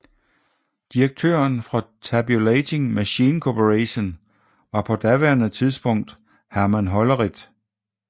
Direktøren for Tabulating Machine Corporation var på daværende tidspunkt Herman Hollerith